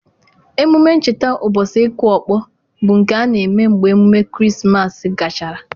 Emume ncheta ubochi ịkụ ọkpọ bụ nke a eme mgbe emume Krismas gachara.